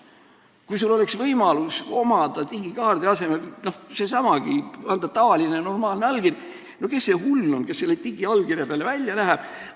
Kui oleks võimalus digiallkirja asemel anda tavaline normaalne allkiri, kes see hull siis oleks, kes selle digiallkirja peale välja läheks!